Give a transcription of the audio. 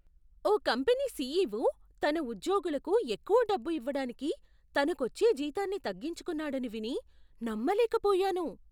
ఓ company CEO తన ఉద్యోగులకు ఎక్కువ డబ్బు ఇవ్వడానికి తనకు వచ్చే జీతాన్ని తగ్గించుకున్నాడని విని నమ్మలేకపోయాను.